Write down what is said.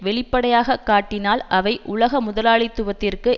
வெளிப்படையாக காட்டினால் அவை உலக முதலாளித்துவத்திற்கு